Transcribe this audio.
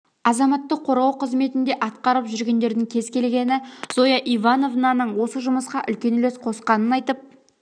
азаматтық қорғау қызметінде атқарып жүргендердің кез келгені зоя ивановнаның осы жұмысқа үлкен үлес қосқанын айтып